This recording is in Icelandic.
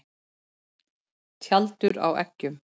Tjaldur á eggjum.